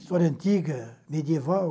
História antiga, medieval,